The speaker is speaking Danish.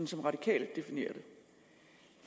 som radikale definerer